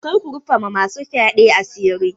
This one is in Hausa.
Kar ku rufa ma masu fyaɗe asiri.